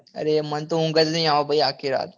અરે ભાઈ મને તો ઉંગ જ નાઈ આવે ભાઈ આખી રાત